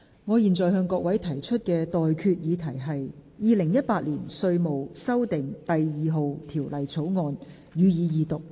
我現在向各位提出的待決議題是：《2018年稅務條例草案》，予以二讀。